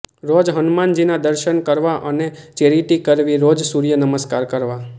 રોજ હનુમાનજીના દર્શન કરવા અને ચેરીટી કરવી રોજ સૂર્ય નમસ્કાર કરવા